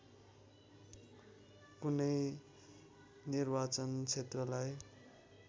कुनै निर्वाचन क्षेत्रलाई